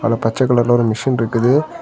அதுல பச்ச கலர்ல ஒரு மிஷின் இருக்குது.